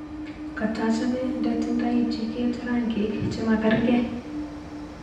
Katochame ndo tindoy jiket rangik chemakerkei